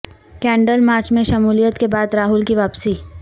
candle march میں شمولیت کے بعد راہل کی واپسی